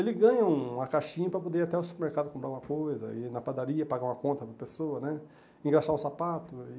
Ele ganha uma caixinha para poder ir até o supermercado comprar uma coisa, ir na padaria pagar uma conta para pessoa né, engraxar um sapato e.